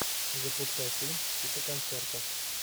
запускай фильм типа концерта